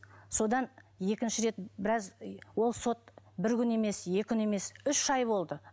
содан екінші рет біраз ол сот бір күн емес екі күн емес үш ай болды